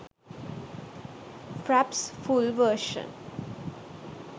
fraps full version